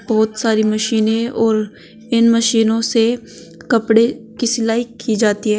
बहोत सारी मशीने और इन मशीनों से कपड़े की सिलाई की जाती है।